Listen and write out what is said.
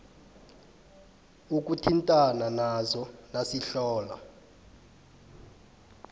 ukuthintana nazo nasihlola